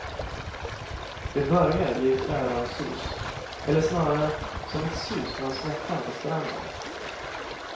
Det börjar i ett öronsus, eller snarare som ett sus från snäckan på stranden.